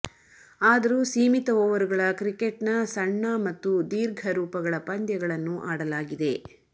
ಆದರೂ ಸೀಮಿತ ಓವರುಗಳ ಕ್ರಿಕೆಟ್ನ ಸಣ್ಣ ಮತ್ತು ದೀರ್ಘ ರೂಪಗಳ ಪಂದ್ಯಗಳನ್ನು ಆಡಲಾಗಿದೆ